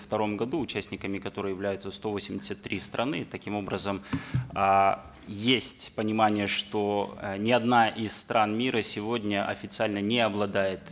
втором году участниками которой являются сто восемьдесят три страны и таким образом э есть понимание что э ни одна из стран мира сегодня официально не обладает